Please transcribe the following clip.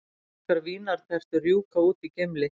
Íslenskar vínartertur rjúka út í Gimli